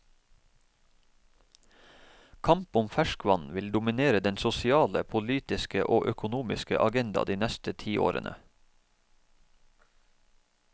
Kamp om ferskvann vil dominere den sosiale, politiske og økonomiske agenda de neste tiårene.